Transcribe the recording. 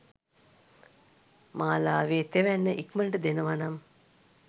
මාලාවෙ තෙවැන්න ඉක්මනට දෙනව නම්